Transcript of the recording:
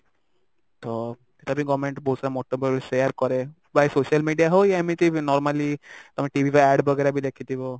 ତ ଏଟା ବି government ବହୁତ ସାରା ମତ ବେଳେ ବେଳେ share କରେ by social media ହଉ ୟା ଏମିତି normally ତମେ TV ରେ ad वगेरा ବି ଦେଖିଥିବ